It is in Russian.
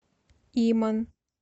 иман